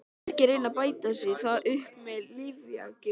Margir reyna að bæta sér það upp með lyfjagjöf.